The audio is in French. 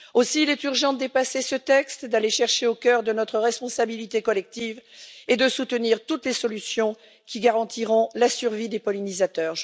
Aussi, il est urgent de dépasser ce texte, d'aller chercher au cœur de notre responsabilité collective et de soutenir toutes les solutions qui garantiront la survie des pollinisateurs.